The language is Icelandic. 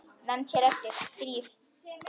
Nefnd hér eftir: Stríð.